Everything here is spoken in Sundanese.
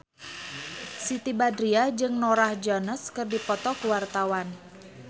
Siti Badriah jeung Norah Jones keur dipoto ku wartawan